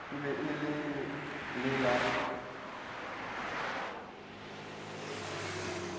e be e le la